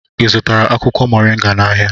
Ị zụtara akwụkwọ moringa n'ahịa?